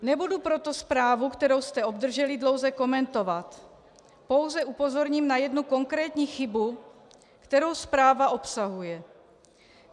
Nebudu proto zprávu, kterou jste obdrželi, dlouze komentovat, pouze upozorním na jednu konkrétní chybu, kterou zpráva obsahuje.